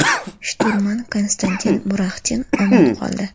Shturman Konstantin Muraxtin omon qoldi.